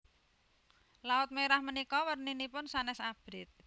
Laut Merah menika werninipun sanes abrit